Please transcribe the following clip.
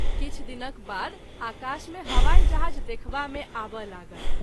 किछु दिनक बाद आकाश मे हवाई जहाज़ देखबा मे आबय लागल।